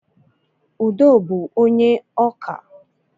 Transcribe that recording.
Udo bú onye ọkà